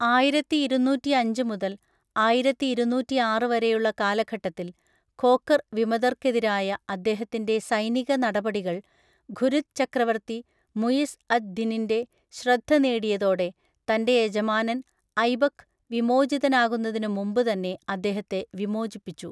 ആയിരത്തി ഇരുന്നൂറ്റിയഞ്ച് മുതൽ ആയിരത്തി ഇരുന്നൂറ്റിയാറ് വരെയുള്ള കാലഘട്ടത്തിൽ, ഖോഖർ വിമതർക്കെതിരായ അദ്ദേഹത്തിൻ്റെ സൈനിക നടപടികൾ, ഘുരിദ് ചക്രവർത്തി മുയിസ് അദ് ദിനിൻ്റെ ശ്രദ്ധ നേടിയതോടെ, തൻ്റെ യജമാനൻ ഐബക്ക് വിമോചിതനാകുന്നതിനു മുമ്പ് തന്നെ അദ്ദേഹത്തെ വിമോചിപ്പിച്ചു.